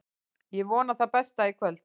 Ég vona það besta í kvöld.